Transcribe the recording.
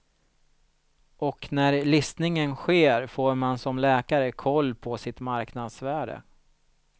Och när listningen sker får man som läkare koll på sitt marknadsvärde.